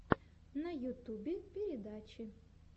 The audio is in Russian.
на ютубе передачи